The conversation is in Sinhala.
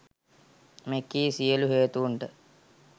මෙකී සියලු හේතූන්ට